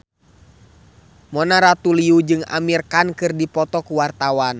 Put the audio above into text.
Mona Ratuliu jeung Amir Khan keur dipoto ku wartawan